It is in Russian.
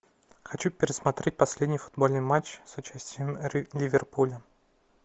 хочу пересмотреть последний футбольный матч с участием ливерпуля